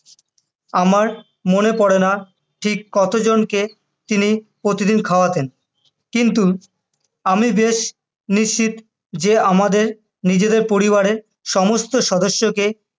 আমার মনে পড়ে না ঠিক কতজনকে তিনি প্রতিদিন খাওয়াতেন, কিন্তু আমি বেশ নিশ্চিত যে আমাদের নিজেদের পরিবারের সমস্ত সদস্যকে,